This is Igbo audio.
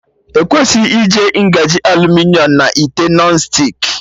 Ekwesịghị iji ngaji aluminiọm na ite Nọn stik